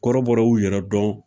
Kɔrɔbɔrɔw y'u yɛrɛ dɔn.